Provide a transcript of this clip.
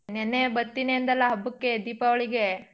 ನೆನ್ನೆ ಬತ್ತೀನಿ ಅಂದಲ್ಲ ಹಬ್ಬಕ್ಕೆ ದೀಪಾವಳಿಗೆ.